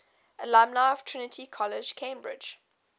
alumni of trinity college cambridge